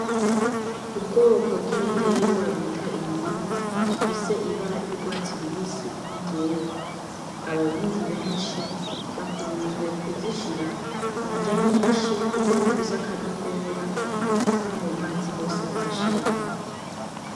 Ubwoko bw'ibiterwa bita indimu ifise ibara ry'urwatsi rubisi ni'iryera. Abarundi benshi bakunze kuzishira mu nrya nyinshi kuko bifise akanovera no mu mazi hose bagashiramwo.